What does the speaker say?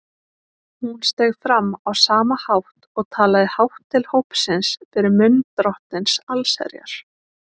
Hún steig fram á sama hátt og talaði hátt til hópsins fyrir munn Drottins allsherjar.